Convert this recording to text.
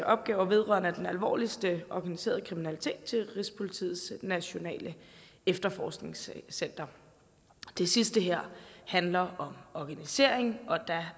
opgaver vedrørende den alvorligste organiserede kriminalitet til rigspolitiets nationale efterforskningscenter det sidste her handler om organiseringen og der